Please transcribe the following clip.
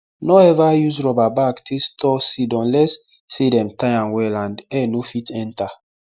nor ever use rubber bag take store seed unless say dem tie am well and air nor fit enter